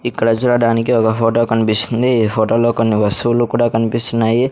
ఇక్కడ చూడడానికి ఒక ఫోటో కన్పిస్తుంది ఈ ఫోటోలో కొన్ని వస్తువులు కూడా కన్పిస్తున్నాయి.